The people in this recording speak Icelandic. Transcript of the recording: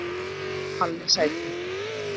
Palli sæti!!